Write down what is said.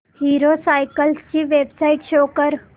hero cycles ची website show कर